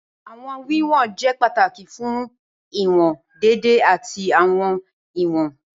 Awọn wiwọn jẹ pataki fun iwọn deede ati awọn iwọn.